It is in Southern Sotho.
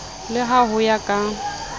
le ha ho ya ka